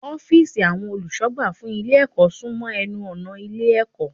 Ófììsì àwọn olùsọ̀gbà fún Ilé ẹ̀kọ́ sún mọ́ enu ọ̀nà Ilé ẹ̀kọ́